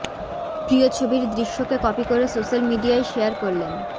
প্রিয় ছবির দৃশ্যকে কপি করে সোশ্যাল মিডিয়ায় শেয়ার করলেন